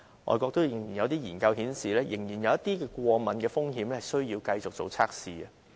外國有研究顯示，這藥仍然有一些過敏的風險需要繼續進行測試。